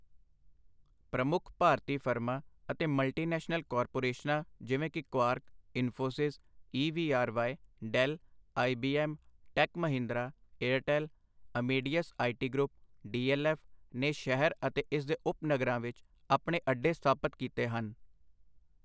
ਪ੍ਰਮੁੱਖ ਭਾਰਤੀ ਫਰਮਾਂ ਅਤੇ ਮਲਟੀਨੈਸ਼ਨਲ ਕਾਰਪੋਰੇਸ਼ਨਾਂ ਜਿਵੇਂ ਕਿ Quark, Infosys, E V R Y, Dell, I B M, Tech Mahindra, Airtel, Amadeus I T group, D L F ਨੇ ਸ਼ਹਿਰ ਅਤੇ ਇਸ ਦੇ ਉਪਨਗਰਾਂ ਵਿੱਚ ਆਪਣੇ ਅੱਡੇ ਸਥਾਪਤ ਕੀਤੇ ਹਨ।